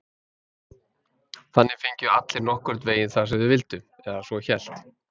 Þannig fengju allir nokkurn veginn það sem þeir vildu, eða svo hélt